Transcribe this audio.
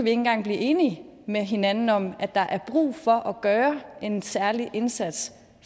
engang blive enige med hinanden om at der er brug for at gøre en særlig indsats